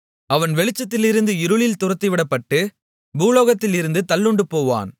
அவன் வெளிச்சத்திலிருந்து இருளில் துரத்திவிடப்பட்டு பூலோகத்திலிருந்து தள்ளுண்டுபோவான்